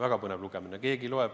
Väga põnev lugemine!